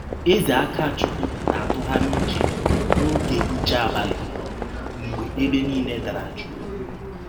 Eze Akachụkwụ na - atụgharị ụche n’ọge nche abalị, mgbe ebe niile dara jụụ.